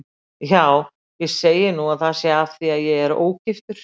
Já, ég segi nú að það sé af því að ég er ógiftur.